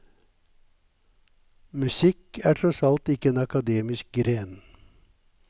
Musikk er tross alt ikke en akademisk gren.